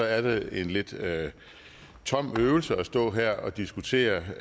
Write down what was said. er det en lidt tom øvelse at stå her og diskutere